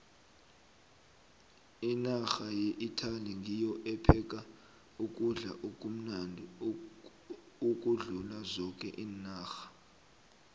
inarha yeitaly ngiyo epheka ukudla okumnandi ukudlula zoke iinarha